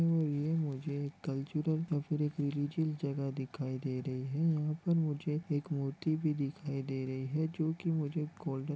ये मुझे एक कल्चरल अफ्रीकल रीजल जगह दिखाई दे रही है यहाँ पर मुझे एक मूर्ति भी दिखाई दे रही है जो की मुझे गोल्डन --